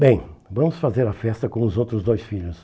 Bem, vamos fazer a festa com os outros dois filhos.